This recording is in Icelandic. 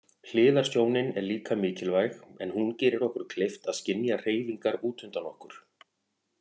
Hliðarsjónin er líka mikilvæg en hún gerir okkur kleift að skynja hreyfingar útundan okkur.